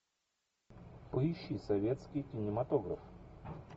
поищи советский кинематограф